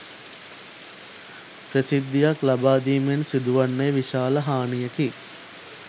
ප්‍රසිද්ධියක් ලබාදීමෙන් සිදුවන්නේ විශාල හානියකි